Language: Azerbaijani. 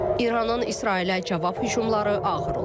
İranın İsrailə cavab hücumları ağır olub.